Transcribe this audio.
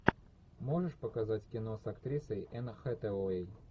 можешь показать кино с актрисой энн хэтэуэй